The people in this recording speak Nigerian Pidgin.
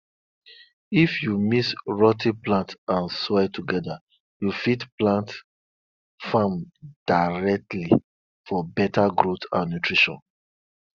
if you mix rot ten plants and soil together you fit plant farm directly for better growth and nutrition